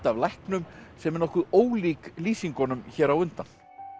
af læknum sem er nokkuð ólík lýsingunum hér á undan